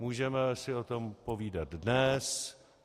Můžeme si o tom povídat dnes.